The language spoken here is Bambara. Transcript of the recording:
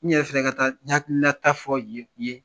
N yɛrɛ ka tila ka taa n hakilinata fɔ ye yen: